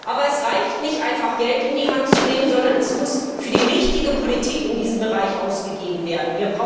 Aber es reicht nicht aus, einfach Geld in die Hand zu nehmen, sondern es muss für die richtige Politik in diesem Bereich ausgegeben werden.